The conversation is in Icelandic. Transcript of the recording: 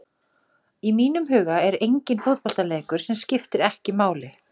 Í mínum huga er enginn fótboltaleikur sem skiptir ekki máli.